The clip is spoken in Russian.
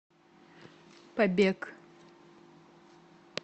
побег